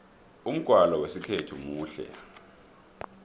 umgwalo wesikhethu muhle